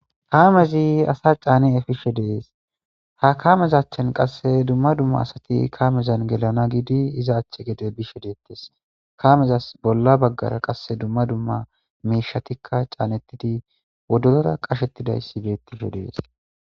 Haamezi asa caani efishe dees; ha kaamezachchan qasse dumma dumma asati kaamezan gelana giidi iza achche gede bishe deettes kaamezas bolla baggara qasse dumma dumma miishatikka caanettidi woddozora qashettidayssi beettisho dees.